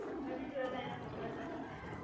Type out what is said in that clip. મેં બી જોયા તા એના ફોટા સરસ છે